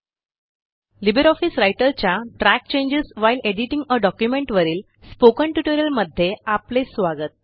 Libre office रायटरच्या track changes while editing a document वरील spoken ट्युटोरियलमध्ये आपले स्वागत